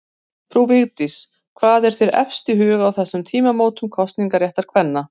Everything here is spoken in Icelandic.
Frú Vigdís, hvað er þér efst í huga á þessum tímamótum kosningaréttar kvenna?